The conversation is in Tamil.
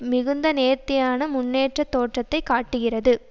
மிகுந்த நேர்த்தியான முன்னேற்றத் தோற்றத்தை காட்டுகிறது